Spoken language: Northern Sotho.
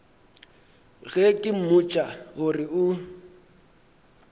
ge ke mmotša gore o